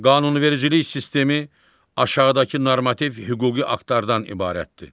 Qanunvericilik sistemi aşağıdakı normativ hüquqi aktlardan ibarətdir: